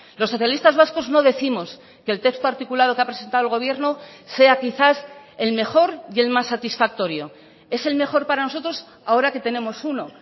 los socialistas vascos no décimos que el texto articulado que ha presentado el gobierno sea quizás el mejor y el más satisfactorio es el mejor para nosotros ahora que tenemos uno